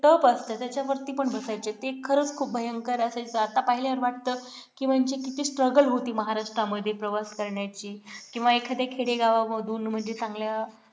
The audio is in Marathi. टप असते त्याच्यावरती पण बसायचे ते खरंच खूप भयंकर असायचं आता पाहिल्यावर वाटतं की म्हणजे किती struggle होती महाराष्ट्रामध्ये प्रवास करण्याची किंवा एखाद्या खेडेगावांमधून म्हणजे चांगल्या